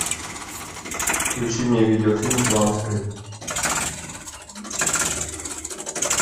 включи мне видеофильм план игры